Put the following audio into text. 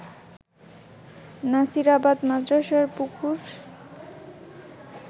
নাসিরাবাদ মাদ্রাসার পুকুর